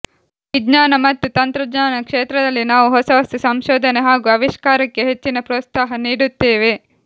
ವಿಜ್ಞಾನ ಮತ್ತು ತಂತ್ರಜ್ಞಾನ ಕ್ಷೇತ್ರದಲ್ಲಿ ನಾವು ಹೊಸ ಹೊಸ ಸಂಶೋಧನೆ ಹಾಗೂ ಆವಿಷ್ಕಾರಕ್ಕೆ ಹೆಚ್ಚಿನ ಪ್ರೋತ್ಸಾಹ ನೀಡುತ್ತೇವೆ